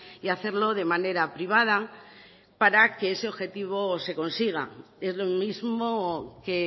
y hacerlo de manera privada para que ese objetivo se consiga es lo mismo que